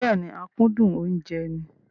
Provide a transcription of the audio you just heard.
Bẹ́ẹ̀ni, akúndùn oúnjẹ ni.